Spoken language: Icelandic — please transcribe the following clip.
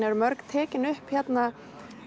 eru mörg tekin upp hérna